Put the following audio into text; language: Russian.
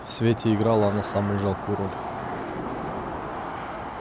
в свете играла она самую жалкую роль